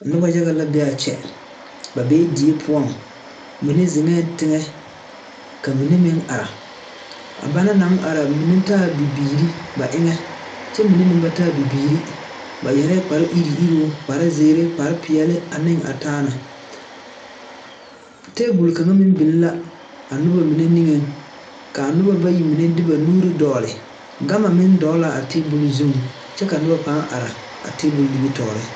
Noba yaga la be a kyɛ ba bee die poɔŋ mine zeŋɛɛ teŋɛ ka mine meŋ are a banaŋ naŋ are mine taaɛ bibiiri ba eŋɛ kyɛ mine meŋ ba taa bibiiri ba yɛrɛ kpar iruŋ iruŋ kparzeere, kparpeɛle ane a taa na table kaŋa meŋ biŋ la a noba mine niŋeŋ k,a noba bayi mine de ba nuuri dɔgle gama meŋ dɔgle la a table zuŋ kyɛ ka noba pãã are a table nimitɔɔre.